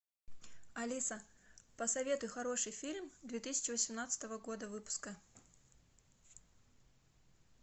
алиса посоветуй хороший фильм две тысячи восемнадцатого года выпуска